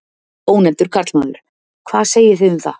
Ónefndur karlmaður: Hvað segið þið um það?